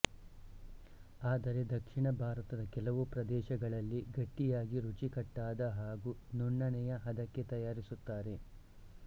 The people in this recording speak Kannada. ಆದರೆ ದಕ್ಷಿಣ ಭಾರತದ ಕೆಲವು ಪ್ರದೇಶಗಳಲ್ಲಿ ಗಟ್ಟಿಯಾಗಿ ರುಚಿಕಟ್ಟಾದ ಹಾಗು ನುಣ್ಣನೆಯ ಹದಕ್ಕೆ ತಯಾರಿಸುತ್ತಾರೆ